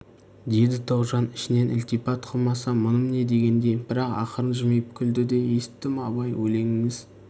деді тоғжан ішінен ілтипат қылмасам мұным не дегендей бірақ ақырын жымиып күлді де есіттім абай өлеңіңіз